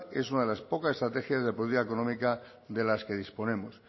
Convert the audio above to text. es una de las pocas estrategias de política económica de las que disponemos